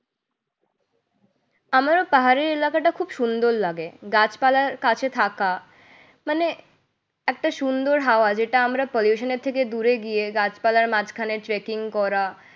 আমারও পাহাড়ি এলাকাটা খুব সুন্দর লাগে। গাছপালার কাছে থাকা মানে একটা সুন্দর হাওয়া যেটা আমরা pollution এর থেকে দূরে গিয়ে গাছপালার মাঝখানে tracking করা